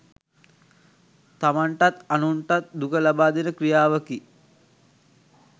තමන්ටත් අනුන්ටත් දුක ලබාදෙන ක්‍රියාවකි.